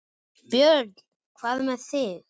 Björn: Hvað með þig?